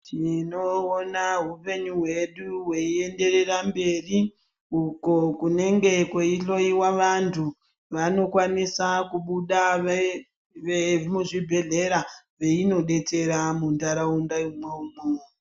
Tinoona hupenyu hwedu hwei enderera mberi uko kunenge kwei hloyiwa vantu vanokwanisa kubuda ve muzvi bhedhlera veino detsera mu ndaraunda imwomwo.